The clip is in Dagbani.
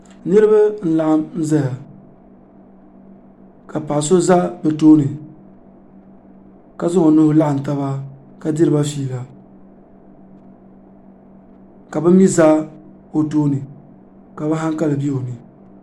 niraba n laɣam ʒɛya ka paɣa so ʒɛ bi tooni ka zaŋ o nuhi laɣam taba ka diriba fiila ka bi mii ʒɛ o tooni ka bi hankali bɛ o ni